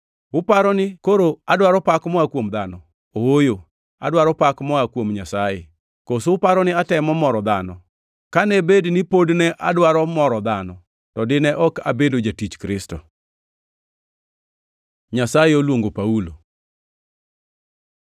Uparo ni koro adwaro pak moa kuom dhano? Ooyo, adwaro pak moa kuom Nyasaye. Koso uparo ni atemo moro dhano? Kane bed ni pod ne adwaro moro dhano, to dine ok abedo jatich Kristo. Nyasaye oluongo Paulo